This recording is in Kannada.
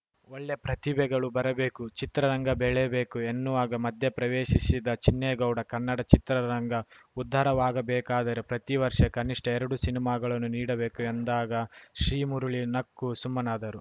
ಒಳ್ಳೆ ಪ್ರತಿಭೆಗಳು ಬರಬೇಕು ಚಿತ್ರರಂಗ ಬೆಳೆಯಬೇಕು ಎನ್ನುವಾಗ ಮಧ್ಯೆ ಪ್ರವೇಶಿಸಿದ ಚಿನ್ನೇಗೌಡ ಕನ್ನಡ ಚಿತ್ರರಂಗ ಉದ್ದಾರವಾಗಬೇಕಾದರೆ ಪ್ರತಿ ವರ್ಷ ಕನಿಷ್ಟಎರಡು ಸಿನಿಮಾಗಳನ್ನು ನೀಡಬೇಕು ಎಂದಾಗ ಶ್ರೀಮುರಳಿ ನಕ್ಕು ಸುಮ್ಮನಾದರು